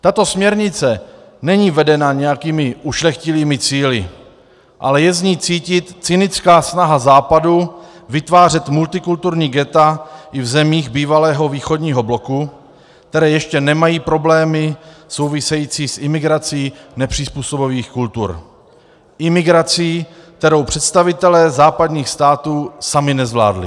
Tato směrnice není vedena nějakými ušlechtilými cíli, ale je z ní cítit cynická snaha Západu vytvářet multikulturní ghetta i v zemích bývalého východního bloku, které ještě nemají problémy související s imigrací nepřizpůsobivých kultur, imigrací, kterou představitelé západních států sami nezvládli.